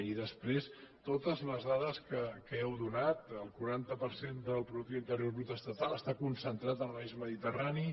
i després totes les dades que heu donat el quaranta per cent del producte interior brut estatal està concentrat en l’eix mediterrani